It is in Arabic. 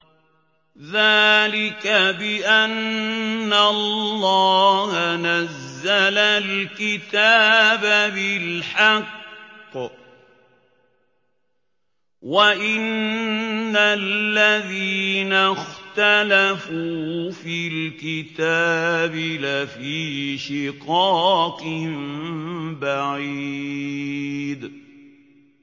ذَٰلِكَ بِأَنَّ اللَّهَ نَزَّلَ الْكِتَابَ بِالْحَقِّ ۗ وَإِنَّ الَّذِينَ اخْتَلَفُوا فِي الْكِتَابِ لَفِي شِقَاقٍ بَعِيدٍ